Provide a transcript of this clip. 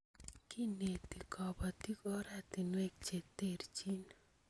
Kineti kobotik ortinwek che terchin